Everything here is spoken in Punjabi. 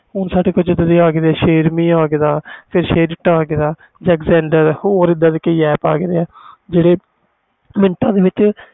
ਹੁਣ ਸਾਡੇ ਕੋਲ share it share me xzender ਹੋਰ ਇਹਦੇ ਦੇ app ਆ ਗਏ ਨੇ